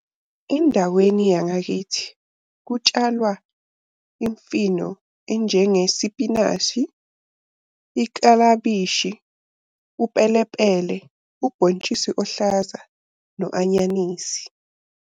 Endaweni yangakithi kutshalwa imfino enjengesipinashi, iklabishi, upelepele, ubhontshisi ohlaza no anyanisi.